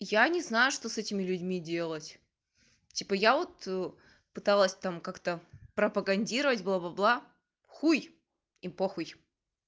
я не знаю что с этими людьми делать типа я вот пыталась там как-то пропагандировать бла-бла-бла хуй им похуй